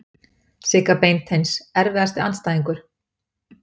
Sigga Beinteins Erfiðasti andstæðingur?